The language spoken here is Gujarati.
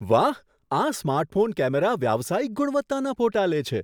વાહ! આ સ્માર્ટફોન કેમેરા વ્યાવસાયિક ગુણવત્તાના ફોટા લે છે.